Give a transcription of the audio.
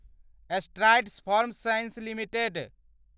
strides Pharma Science limited